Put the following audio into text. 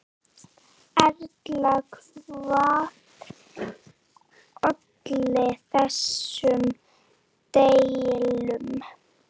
Erla, hvað olli þessum deilum?